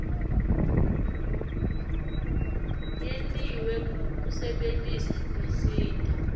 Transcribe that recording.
yentiwe kusebentisa tinsita